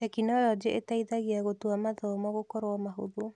Tekinoronjĩ ĩteithagia gũtua mathomo gũkorwo mahũthũ.